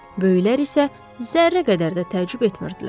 Böyüklər isə zərrə qədər də təəccüb etmirdilər.